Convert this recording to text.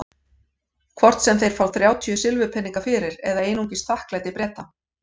Hvort sem þeir fá þrjátíu silfurpeninga fyrir eða einungis þakklæti Breta.